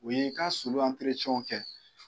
U ye i ka sulu kɛ.